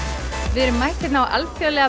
við erum mætt hérna á Alþjóðlega